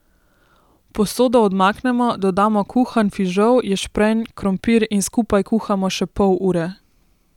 Posodo odmaknemo, dodamo kuhan fižol, ješprenj, krompir in skupaj kuhamo še pol ure.